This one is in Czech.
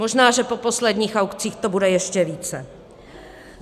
Možná, že po posledních aukcích to bude ještě více.